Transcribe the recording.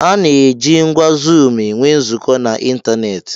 A na-eji ngwá zuum enwe nzukọ n'ịntanetị.